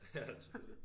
Ja selvfølgelig